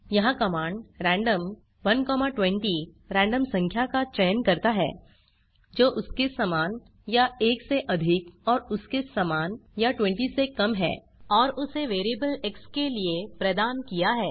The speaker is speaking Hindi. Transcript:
यहाँ कमांड रैंडम 120 रैंडम संख्या का चयन करता है जो उसके समान या 1 से अधिक और उसके समान या 20 से कम है और उसे वेरिएबल एक्स के लिए प्रदान किया है